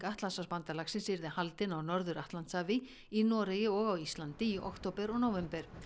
Atlantshafsbandalagsins yrði haldin á Norður Atlantshafi í Noregi og á Íslandi í október og nóvember